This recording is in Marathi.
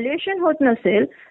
इतर कार्यक्रम असतात